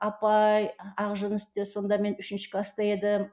апай ақжүністе сонда мен үшінші класта едім